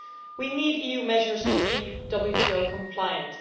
We need EU measures to be WTO compliant.